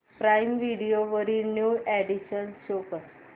prime video वरील new additions show कर